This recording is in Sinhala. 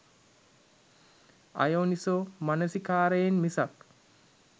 අයෝනිසෝ මනසිකාරයෙන් මිසක්